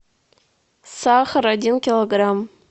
сахар один килограмм